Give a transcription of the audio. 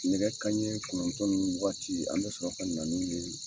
Nɛgɛ kanɲɛ kɔnɔntɔn ninnu waati an bɛ sɔrɔ ka na n'u ye.